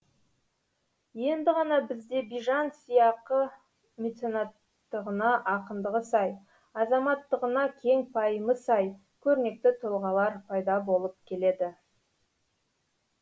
енді ғана бізде бижан сияқы меценаттығына ақындығы сай азаматтығына кең пайымы сай көрнекті тұлғалар пайда болып келеді